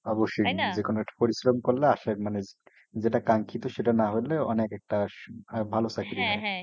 অবশ্যই যে কোনো একটা পরিশ্রম করলে আশ্রয় মানে যেটা কাঙ্খিত সেটা নাহলে অনেক একটা ভালো চাকরি হয়।